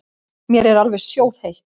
Mér er alveg sjóðheitt.